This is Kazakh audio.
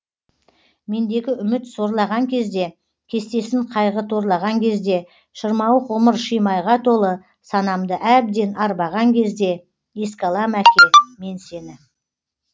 мендегі үміт сорлаған кезде кестесін қайғы торлаған кезде шырмауық ғұмыр шимайға толы санамды әбден арбаған кезде еске алам әке мен сені